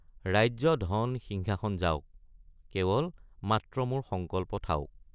ৰাজ্য ধন সিংহাসন যাওক কেৱল মাত্ৰ মোৰ সংকল্প থাওক।